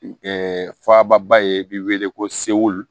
faba ye i bɛ wele ko segu